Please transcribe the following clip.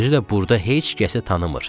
Özü də burda heç kəsi tanımır.